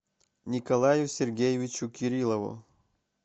николаю сергеевичу кириллову